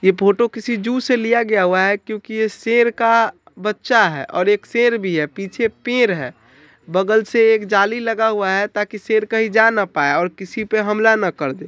ये फोटो किसी जू से लिया गया हुआ है क्योंकि शेर का बच्चा है और एक शेर भी है पीछे पेड़ है बगल से एक जाली लगा हुआ है ताकि शेर कहीं जा ना पाए किसी पर हमला ना करदे।